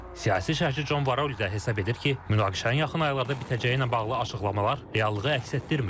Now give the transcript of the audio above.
Siyasi şərhçi Con Varol isə hesab edir ki, münaqişənin yaxın aylarda bitəcəyi ilə bağlı açıqlamalar reallığı əks etdirmir.